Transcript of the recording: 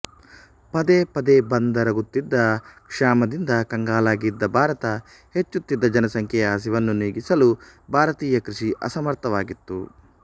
ಪದೇ ಪದೇ ಬಂದೆರಗುತ್ತಿದ್ದ ಕ್ಷಾಮದಿಂದ ಕಂಗಾಲಾಗಿದ್ದ ಭಾರತ ಹೆಚ್ಚುತ್ತಿದ್ದ ಜನಸಂಖ್ಯೆಯ ಹಸಿವನ್ನು ನೀಗಿಸಲು ಭಾರತೀಯ ಕೃಷಿ ಅಸಮರ್ಥವಾಗಿತ್ತು